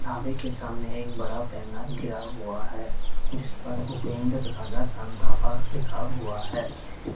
ढाबे के सामने एक बड़ा पैनल गिरा हुआ है जिस पर भूपेंद्र राजा का ढाबा लिखा हुआ है।